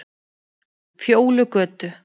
Fjólugötu